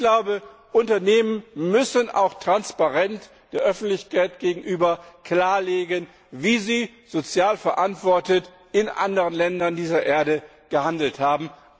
Ich glaube, Unternehmen müssen auch der Öffentlichkeit gegenüber transparent klarlegen, wie sie sozial verantwortet in anderen Ländern dieser Erde gehandelt haben.